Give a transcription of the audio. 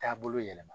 Taabolo yɛlɛma